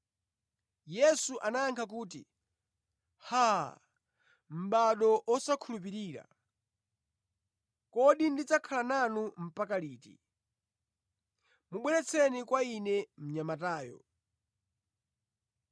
Yesu anayankha kuti, “Haa! Mʼbado osakhulupirira, kodi ndidzakhala nanu mpaka liti? Mubweretseni kwa Ine mnyamatayo.”